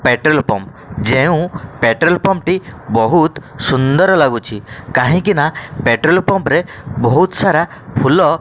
petrol pump ଯେଉଁ petrol pump ଟି ବହୁତ୍ ସୁନ୍ଦର ଲାଗୁଛି କାହିଁକି ନା ପେଟ୍ରୋଲ ପମ୍ପ ରେ ବହୁତ୍ ସାରା ଫୁଲ --